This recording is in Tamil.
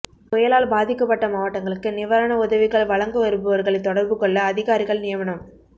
புயலால் பாதிக்கப்பட்ட மாவட்டங்களுக்கு நிவாரண உதவிகள் வழங்க விரும்புவர்கள் தொடர்பு கொள்ள அதிகாரிகள் நியமனம்